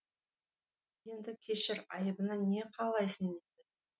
енді кешір айыбына не қалайсың дейді